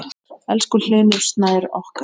Elsku Hlynur Snær okkar.